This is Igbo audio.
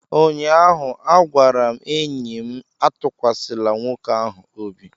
ụnyaahụ, a gwara m enyi m Atụkwasịla nwoke ahụ obi!